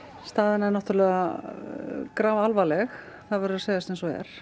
staðan er grafalvarleg það verður að segjast eins og er